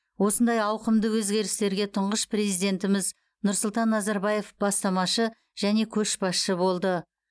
осындай ауқымды өзгерістерге тұңғыш президентіміз нұрсұлтан назарбаев бастамашы және көшбасшы болды